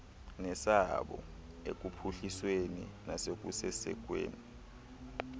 nesabo ekuphuhlisweni nasekusekweni